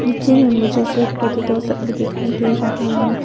पीछे में मुझे स्वीट पोटेटोस सब भी दिखाई दे रहा है।